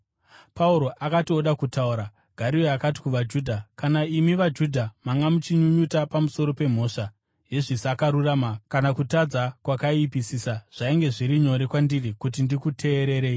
Pauro akati oda kutaura, Gario akati kuvaJudha, “Kana imi vaJudha manga muchinyunyuta pamusoro pemhosva yezvisakarurama kana kutadza kwakaipisisa, zvainge zviri nyore kwandiri kuti ndikuteererei.